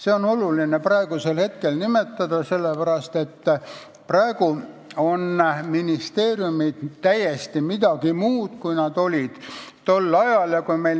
Seda on oluline praegu nimetada, sellepärast et praegu on ministeeriumid täiesti midagi muud, kui nad olid tol ajal.